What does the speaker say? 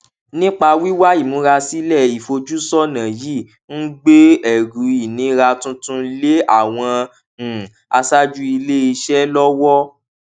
nípa wíwá ìmúrasílè ìfojúsónà yìí ń gbé ẹrù ìnira tuntun lé àwọn um aṣáájú ilé iṣé lówó